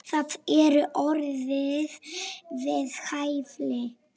Það eru orð við hæfi.